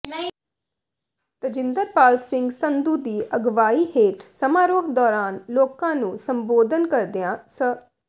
ਤਜਿੰਦਰਪਾਲ ਸਿੰਘ ਸੰਧੂ ਦੀ ਅਗਵਾਈ ਹੇਠ ਸਮਾਰੋਹ ਦੌਰਾਨ ਲੋਕਾਂ ਨੂੰ ਸੰਬੋਧਨ ਕਰਦਿਆਂ ਸ